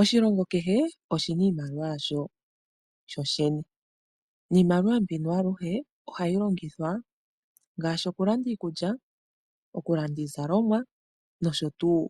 Oshilongo kehe oshi na iimaliwa yasho sho shene. Niimaliwa mbino aluhe, ohayi longitha ngaashi okulanda iikulya, okulanda iizalomwa nosho tuu